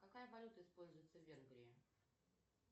какая валюта используется в венгрии